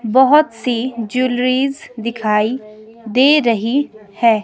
बहुत सी ज्वेलरीज दिखाई दे रही है।